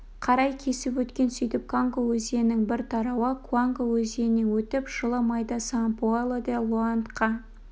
қарай кесіп өткен сөйтіп конго өзенінің бір тарауы куанго өзенінен өтіп жылы майда сан-паоло де-лоандка